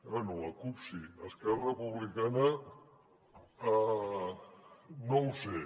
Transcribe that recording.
bé la cup sí esquerra republicana no ho sé